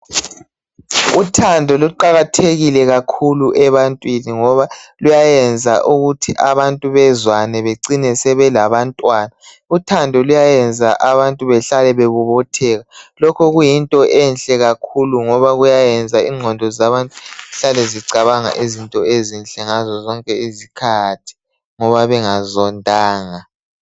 Uthando luqakathekile kakhulu ebantwini ngoba luyayenza ukuthi abantu bezwane becine sebelabantwana. Uthando luyayenza abantu behlale bebobotheka, lokhu kuyinto enhle kakhulu ngoba kuyayenza ingqondo zabantu zihlale zicabanga izinto ezinhle ngazozonke izikhathi ngoba bengazondanga.